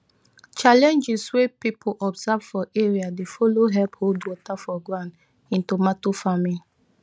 challenges wey people observe for area dey follow help hold water for ground in tomato farming